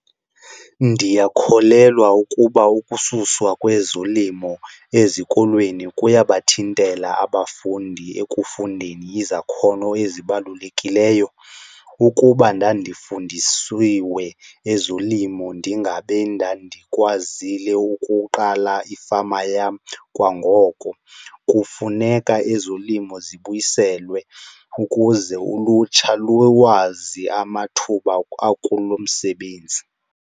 Ndiyakholelwa ukuba ukususwa kwezolimo ezikolweni kuyabathintela abafundi ekufundeni izakhono ezibalulekileyo. Ukuba ndandifundisiwe ezolimo ndingabe ndandikwazile ukuqala ifama yam kwangoko. Kufuneka ezolimo zibuyiselwe ukuze ulutsha lulwazi amathuba akulo msebenzi.